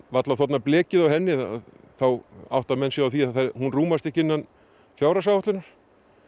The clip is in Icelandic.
varla þornað blekið á henni þá átta þeir sig á því að hún rúmast ekki innan fjárhagsáætlunar